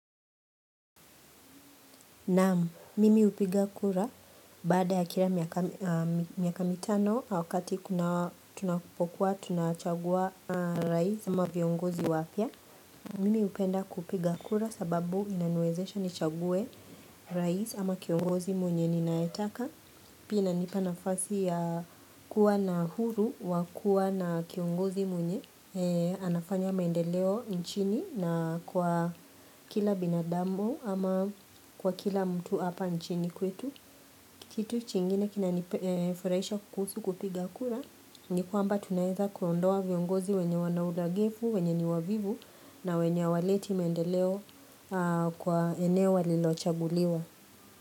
Naam, mimi upiga kura baada ya kila miaka mitano wakati tunakupokuwa tunachagua rahisi ama viongozi wapya. Mimi upenda kupiga kura sababu inanuezesha nichaguwe rais ama kiongozi mwenye ninaetaka. Pina nipanafasi ya kuwa na huru wa kuwa na kiongozi mwenye anafanya mendeleo nchini na kwa kila binadamu ama kwa kila mtu apa nchini kwetu Kitu chingine kina niforaisha kukusu kupiga kuna Nikuamba tunaeza kuondoa viongozi wenye wanaudagevu, wenye ni wavivu na wenye waleti mendeleo kwa eneo walilochaguliwa.